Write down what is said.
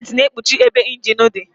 Bọnetị na-ekpuchi ebe ịnjin dị